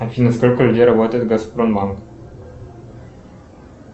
афина сколько людей работает в газпромбанк